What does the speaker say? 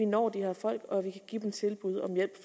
nå de her folk og give dem et tilbud om hjælp